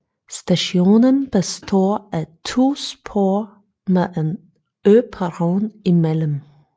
Stationen består af to spor med en øperron imellem